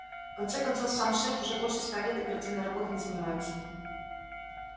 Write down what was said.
в конце концов сам шеф уже больше ста лет оперативной работой не занимается